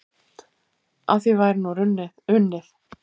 Að því væri nú unnið.